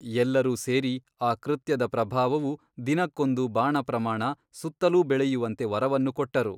ಎಲ್ಲರೂ ಸೇರಿ ಆ ಕೃತ್ಯದ ಪ್ರಭಾವವು ದಿನಕ್ಕೊಂದು ಬಾಣಪ್ರಮಾಣ ಸುತ್ತಲೂ ಬೆಳೆಯುವಂತೆ ವರವನ್ನು ಕೊಟ್ಟರು.